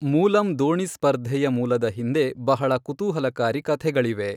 ಮೂಲಮ್ ದೋಣಿ ಸ್ಪರ್ಧೆಯ ಮೂಲದ ಹಿಂದೆ ಬಹಳ ಕುತೂಹಲಕಾರಿ ಕಥೆಗಳಿವೆ.